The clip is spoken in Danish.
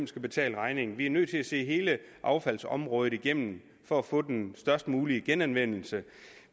skal betale regningen vi er nødt til at se hele affaldsområdet igennem for at få den størst mulige genanvendelse